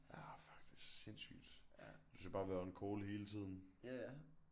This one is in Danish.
Ja fuck det sindssygt og du skal bare være on call hele tiden